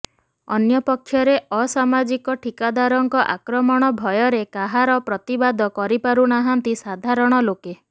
ଅନ୍ୟପକ୍ଷରେ ଅସାମାଜିକ ଠିକାଦାରଙ୍କ ଆକ୍ରମଣ ଭୟରେ କାହାର ପ୍ରତିବାଦ କରିପାରୁ ନାହାନ୍ତି ସାଧାରଣ ଲୋକେ